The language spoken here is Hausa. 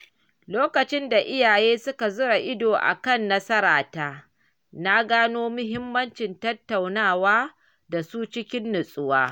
Lokacin da iyaye suka zura ido a kan nasarata, na gano muhimmancin tattaunawa da su cikin natsuwa.